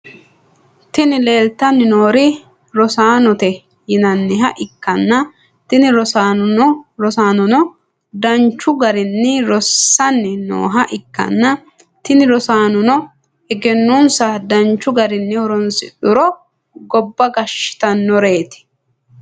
Tini lelitani norri rossanote yinaniha ikana tini rossanono danichu garinni rossani nooha ikana tini rossanono egenonissa danichu garini horronisidhuro gobba gashshitanoret.